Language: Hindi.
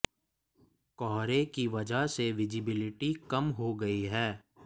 कोहरे की वजह से विज़िबिलिटी कम हो गई है